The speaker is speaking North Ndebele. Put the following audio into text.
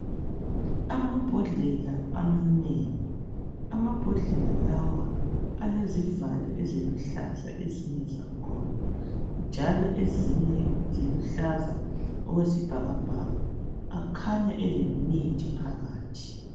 Amabhodlela amanengi amabhodlela lawa alezivalo eziluhlaza ezinye zangikhona njalo ezinye ziluhlaza okwesibhakabhaka akhanya elemithi phakathi.